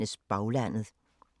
DR P2